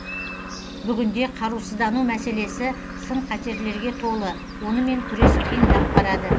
бүгінде қарусыздану мәселесі сын қатерлерге толы онымен күрес қиындап барады